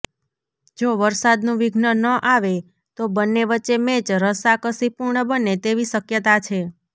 જો વરસાદનું વિઘ્ન ન આવે તો બંને વચ્ચે મેચ રસાકસીપૂર્ણ બને તેવી શક્યતા છે